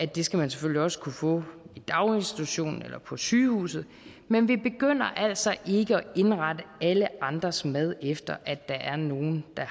det skal man selvfølgelig også kunne få i daginstitutionen eller på sygehuset men vi begynder altså ikke at indrette alle andres mad efter at der er nogle der